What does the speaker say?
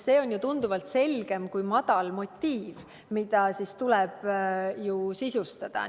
See on ju tunduvalt selgem kui "madal motiiv", mida tuleb alles sisustada.